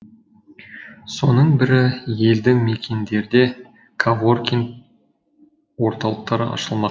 соның бірі елді мекендерде коворкинг орталықтары ашылмақ